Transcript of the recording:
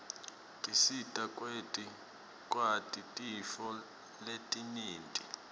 tisita kwati tintfo letinyenti